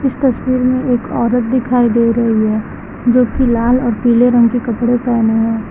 इस तस्वीर में एक औरत दिखाई दे रही है जोकि लाल और पीले रंग के कपड़े पहने है।